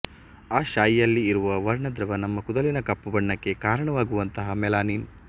ಆ ಶಾಯಿಯಲ್ಲಿ ಇರುವ ವರ್ಣದ್ರವ್ಯ ನಮ್ಮ ಕೂದಲಿನ ಕಪ್ಪುಬಣ್ಣಕ್ಕೆ ಕಾರಣವಾಗುವಂಥ ಮೆಲನಿನ್